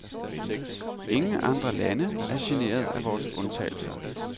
Ingen andre lande er generet af vore undtagelser.